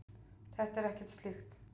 Þetta er ekkert slíkt.